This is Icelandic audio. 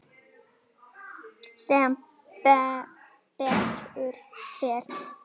Sem betur fer?